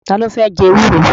Ta ló fẹ́ jẹ ewúro?